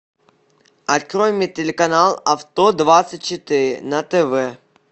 открой мне телеканал авто двадцать четыре на тв